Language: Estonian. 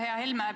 Aitäh!